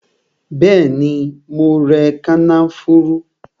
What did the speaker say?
Bẹẹni, mo rẹ kànáfùrú